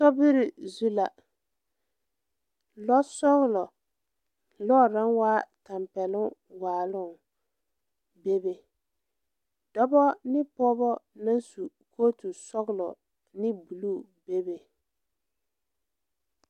Sobiri zu la lɔsɔglɔ lɔre naŋ waa tampɛloŋ waaloŋ bebe dɔbɔ ne pɔɔbɔ la su kootu sɔglɔ ne bluu bebe.